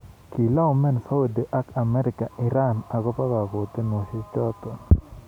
Kilaumen Saudia ak Amerika Iran akopo kokotunoshek chotok.